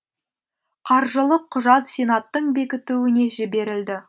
қаржылық құжат сенаттың бекітуіне жіберілді